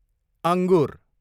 अङ्गुर